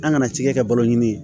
An kana cikɛ kɛ balo ɲini